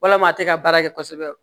Walama a tɛ ka baara kɛ kosɛbɛ